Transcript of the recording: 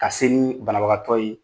Ka se ni banabagatɔ ye